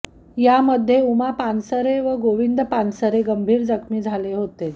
यामध्ये उमा पानसरे व गोविंद पानसरे गंभीर जखमी झाले होते